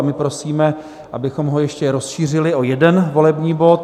A my prosíme, abychom ho ještě rozšířili o jeden volební bod.